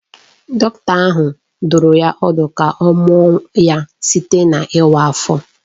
Dọkịta ahụ dụrụ ya ọdụ ka ọ mụọ ya site n’ịwa ahụ.